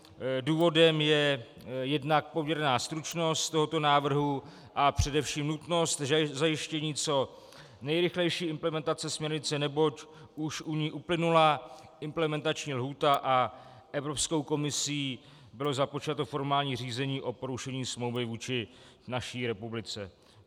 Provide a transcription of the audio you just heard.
Důvodem je jednak poměrná stručnost tohoto návrhu a především nutnost zajištění co nejrychlejší implementace směrnice, neboť už u ní uplynula implementační lhůta a Evropskou komisí bylo započato formální řízení o porušení smlouvy vůči naší republice.